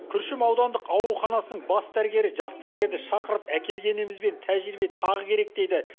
күршім аудандық ауруханасының бас дәрігері жас дәрігерді шақырып әкелгенімізбен тәжірибе тағы керек дейді